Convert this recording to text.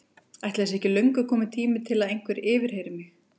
Ætli það sé ekki löngu kominn tími til að einhver yfirheyri mig.